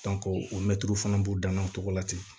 o mɛtiriw fana b'u dan na o cogo la ten